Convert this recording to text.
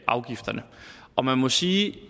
afgifterne og man må sige